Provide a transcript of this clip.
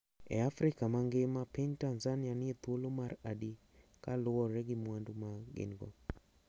E Afrika mangima piny Tanzania nie thuolo mar adi kaluwore gi mwandu ma gin go.